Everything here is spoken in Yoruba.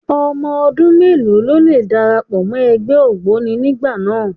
Ọmọ ọdún mélòó ló lè darapọ̀ mọ́ ẹgbẹ́ ògboni nígbà náà?